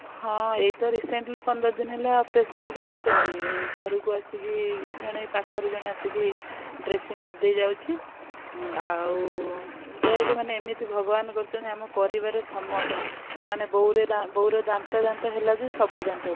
ହଁ ଏଇ ତ recently ପନ୍ଦର ଦିନ ହେଲା operation ହେଇକି ଆସିଛନ୍ତି ଘରକୁ ଆସିକି ଜଣେ ଏଇ ପାଖରୁ ଜଣେଆସିକି dressing କରି ଦେଇ ଯାଉଛି ଆଉ ଦେଖେ ମାନେ ଏମିତି ଭଗବାନ କରୁଛନ୍ତି ଆମ ପରିବାର ରେ ସମସ୍ତଙ୍କର ମାନେ ବୋଉର ବୋଉର ଦାନ୍ତ ଦାନ୍ତ ହେଲା ଯେ ସବୁ।